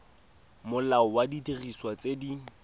molao wa didiriswa tse di